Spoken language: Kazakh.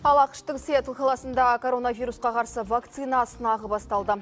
ал ақш тың сиэтл қаласында коронавирусқа қарсы вакцина сынағы басталды